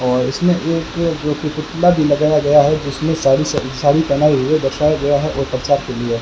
और इसमें जो कि एक पुतला भी लगाया गया है जिसमें साड़ी स साड़ी पहनाई हुई है गया है और बच्चा के लिए --